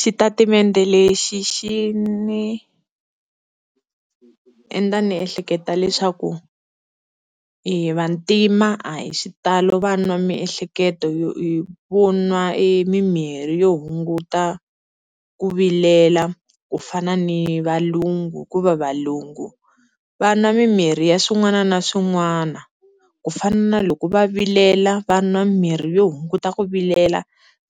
Xitatimende lexi xi ni endla ni ehleketa leswaku hi vantima a hi xitalo va nwa miehleketo yo vo nwa mimirhi yo hunguta ku vilela ku fana ni valungu, hikuva valungu va nwa mimirhi ya swin'wana na swin'wana kufana na loko va vilela va nwa mimirhi yo hunguta ku vilela